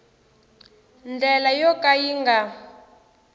ndlela yo ka yi nga